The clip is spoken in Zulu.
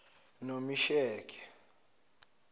nomesheke